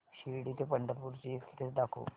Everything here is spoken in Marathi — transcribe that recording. शिर्डी ते पंढरपूर ची एक्स्प्रेस दाखव